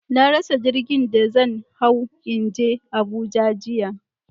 Na rasa jirgin da zan hawo in je Abuja jiya.